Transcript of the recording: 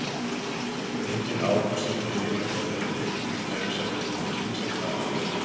Engin árangursrík lyfjameðferð er til við kæfisvefni þó að ýmislegt hafi verið reynt.